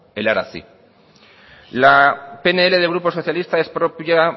helaraztea la pnl del grupo socialista es propia